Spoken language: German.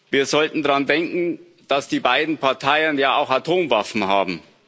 Wir sollten daran denken, dass die beiden Parteien ja auch Atomwaffen haben.